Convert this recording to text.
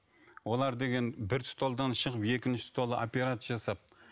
олар деген бір столдан шығып екінші стол операция жасап